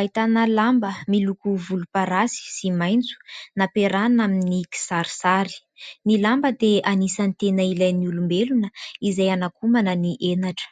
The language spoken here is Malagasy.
ahitana lamba miloko volomparasy sy maitso nampiarahana amin'ny kisarisary, ny lamba dia anisany tena ilain'ny olombelona izay hanakomana ny henatra.